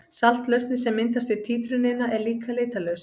Saltlausnin sem myndast við títrunina er líka litarlaus.